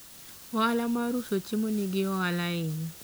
ohala mar uso chiemo nigi ohala ahinya